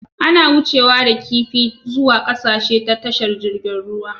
Ana wucewa da kifi zuwa ƙasashe ta tashar jirgin ruwa